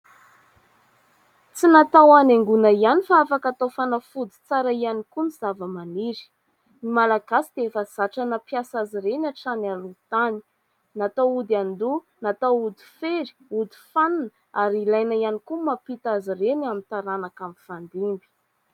Tsy natao hanaingona ihany fa afaka atao fanafody tsara ihany koa ny zavamaniry. Ny Malagasy dia efa zatra nampiasa azy ireny hatrany aloha tany, natao ody an-doha, natao ody fery, ody fanina ary ilaina ihany koa mampita azy ireny amin'ny taranaka mifandimby.